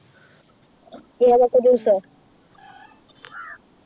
ഏതൊക്കെ Juice ആ